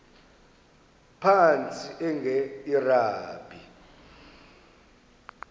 phantsi enge lrabi